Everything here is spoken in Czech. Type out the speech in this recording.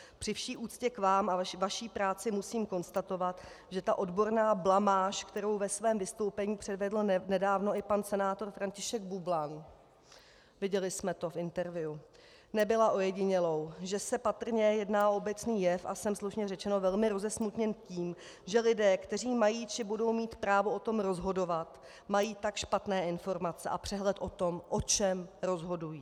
Při vší úctě k Vám a Vaší práci musím konstatovat, že ta odborná blamáž, kterou ve své vystoupení předvedl nedávno i pan senátor František Bublan, viděli jsme to v interview, nebyla ojedinělou, že se patrně jedná o obecný jev, a jsem, slušně řečeno, velmi rozesmutněn tím, že lidé, kteří mají či budou mít právo o tom rozhodovat, mají tak špatné informace a přehled o tom, o čem rozhodují.